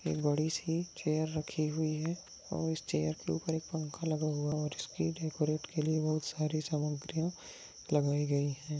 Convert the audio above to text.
एक बड़ी सी चेयर राखी हुई है और इस चेयर के ऊपर एक पंखा लगा हुआ है और इसकी डेकोरेट के लिए बहुत सारी सामग्रिया लगाई गई है।